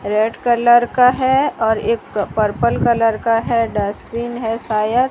red colour का है और एक पर्पल कलर का है डस्टबिन है सायद --